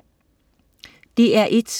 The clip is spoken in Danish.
DR1: